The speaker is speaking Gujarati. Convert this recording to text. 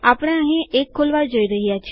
આપણે અહીં એક ખોલવા જઈ રહ્યા છે